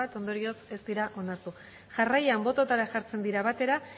ondorioz ez dira onartu jarraian bototara jartzen dira batera